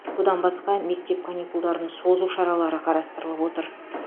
бұдан басқа мектеп каникулдарын созу шаралары қарастырылып отыр